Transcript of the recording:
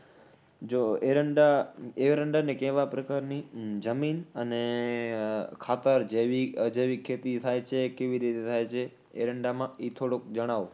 જો એરંડા, એરંડાને કેવા પ્રકારની ઉહ જમીન અને ખાતર, જૈવિક, અજૈવિક ખેતી થાય છે, કેવી રીતે થાય છે એરંડામાં ઇ થોડુક જણાવો